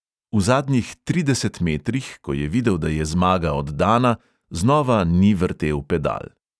V zadnjih trideset metrih, ko je videl, da je zmaga oddana, znova ni vrtel pedal.